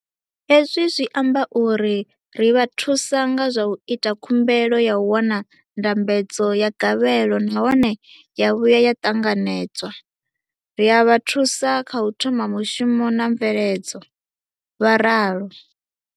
Hezwi zwi amba uri ri vha thusa nga zwa u ita khumbelo ya u wana ndambedzo ya gavhelo nahone ya vhuya ya ṱanganedzwa, ri a vha thusa kha u thoma mushumo na mveledzo, vho ralo.